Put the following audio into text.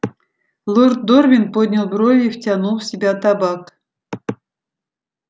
лорд дорвин поднял брови и втянул в себя табак